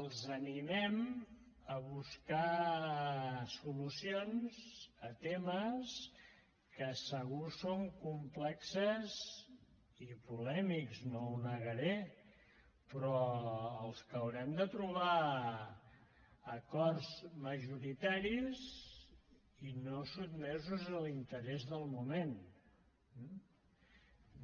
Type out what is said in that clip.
els animem a buscar solucions a temes que segur que són complexos i polèmics no ho negaré però als que haurem de trobar acords majoritaris i no sotmesos a l’interès del moment